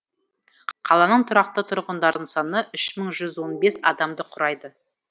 қаланың тұрақты тұрғындарының саны үш мың жүз он бес адамды құрайды